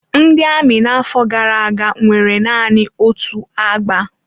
Ndị amị n'afọ gara aga nwere naanị otu agba.